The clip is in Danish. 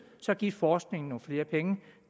så giv forskningen nogle flere penge